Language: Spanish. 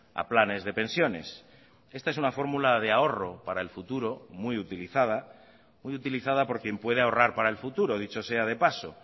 a planes de pensiones esta es una fórmula de ahorro para el futuro muy utilizada muy utilizada por quien puede ahorrar para el futuro dicho sea de paso